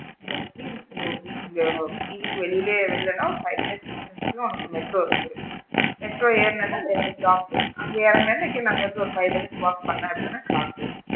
வீட்டுக்கு வெளியவே இறங்கனும் ஒரு five minutes தான் உனக்கு metro க்கு metro ஏறுன உடனே ரெண்டு stop அங்க இறங்குன உடனே again அங்க இருந்து ஒரு five minutes walk பண்ணுனேன் அப்படின்னா class வந்திடும்.